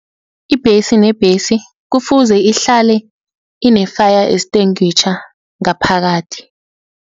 Ibhesi nebhesi kufuze ihlale ine-fire extinguisher ngaphakathi.